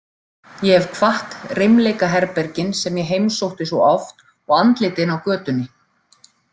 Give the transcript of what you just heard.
Ég hef kvatt reimleikaherbergin sem ég heimsótti svo oft og andlitin á götunni.